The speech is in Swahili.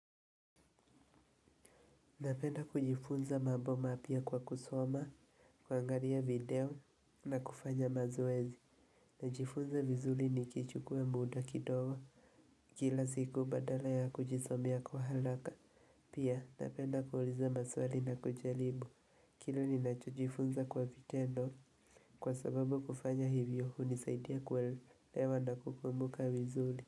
Napenda kujifunza mambo mapia kwa kusoma, kwangaria video na kufanya mazoezi. Najifunza vizuli ni kichukuwe muda kidogo. Kila siku badala ya kujisomea kwa halaka. Pia napenda kuhuliza maswali na kuchelibu. Kile ni nacho jifunza kwa vitendo. Kwa sababu kufanya hivyo huu nisaidia kuwelewa na kukumbuka vizuli.